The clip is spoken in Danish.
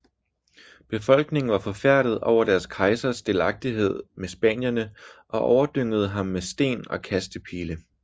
Befolkningen var forfærdet over deres kejsers delagtighed med spanierne og overdyngede ham med sten og kastepile